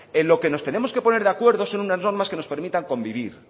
en lo que nos tenemos que poner de acuerdo son unas normas que nos permitan convivir